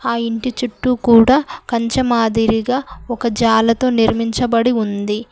ఆ ఇంటి చుట్టూ కూడా కంచమాదిరిగా ఒక జాలతో నిర్మించబడి ఉంది.